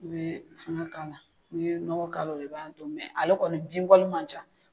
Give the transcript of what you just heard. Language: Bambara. I bee fɛŋɛ k'a la, n'i ye nɔgɔ k'a la o de b'a do minɛ. Ale kɔni bin wari man ca.